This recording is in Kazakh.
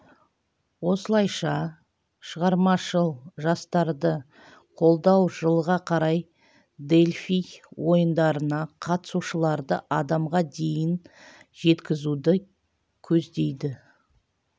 осылайша шығармашыл жастарды қолдау жылға қарай дельфий ойындарына қатысушыларды адамға дейін жеткізуді көздейді